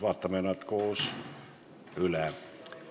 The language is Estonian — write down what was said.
Vaatame nad koos üle.